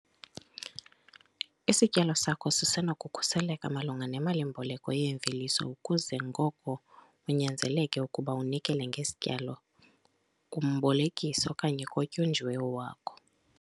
Isityalo sakho sisenokukhuseleka malunga nemali-mboleko yeemveliso ukuze ngoko unyanzeleke ukuba unikele ngesityalo kumbolekisi okanye kotyunjiweyo wakho.